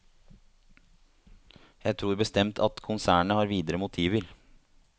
Jeg tror bestemt at konsernet har videre motiver.